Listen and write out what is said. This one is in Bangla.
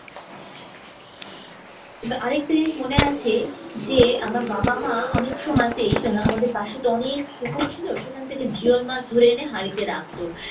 আর একটা জিনিস মনে আছে যে আমার বাবা-মা অনেক সময়তেই আহ আমাদের পাশে তো অনেক পুকুর ছিল সেখান থেকে জিয়ল মাছ ধরে এনে হাড়িতে রাখত।